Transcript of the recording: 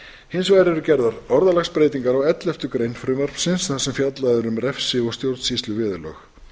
hins vegar eru gerðar orðalagsbreytingar á elleftu grein frumvarpsins þar sem fjallað er um refsi og stjórnsýsluviðurlög